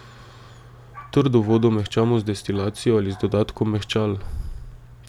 Trdo vodo mehčamo z destilacijo ali z dodatkom mehčal.